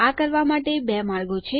આ કરવા માટે 2 માર્ગો છે